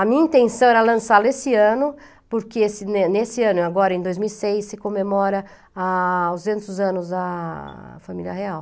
A minha intenção era lançá-la esse ano, porque ne nesse ano, agora em dois mil e seis, se comemora a anos a família real.